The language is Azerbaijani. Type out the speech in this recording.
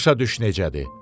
Başa düş necədir.